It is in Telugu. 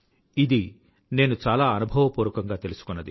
ఇది నేను చాలా అనుభవపూర్వకంగా తెలుసుకున్నది